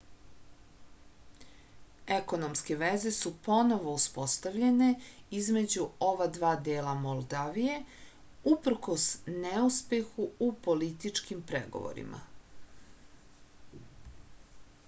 ekonomske veze su ponovo uspostavljene između ova dva dela moldavije uprkos neuspehu u političkim pregovorima